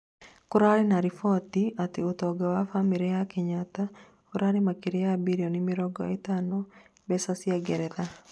kũrarĩ na riboti atĩ ũtonga wa bamĩrĩ ya Kenyatta, ũrarĩ makĩria ya birioni mĩrongo ĩtano mbeca cĩa ngeretha